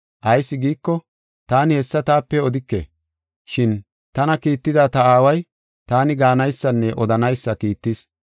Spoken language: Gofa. Ayis giiko, taani hessa taape odike, shin tana kiitida ta Aaway taani gaanaysanne odanaysa kiittis.